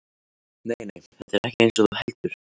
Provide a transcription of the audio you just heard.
Nei, nei, þetta er ekkert eins og þú heldur.